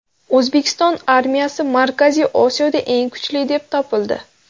O‘zbekiston armiyasi Markaziy Osiyoda eng kuchli deb topildi.